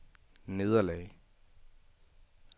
nederlag